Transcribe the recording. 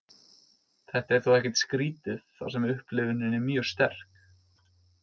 Þetta er þó ekkert skrítið þar sem upplifunin er mjög sterk.